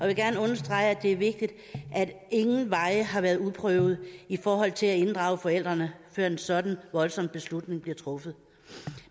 vil gerne understrege at det er vigtigt at ingen veje har været uprøvede i forhold til at inddrage forældrene før en sådan voldsom beslutning bliver truffet